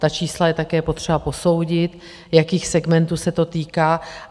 Ta čísla je také potřeba posoudit, jakých segmentů se to týká.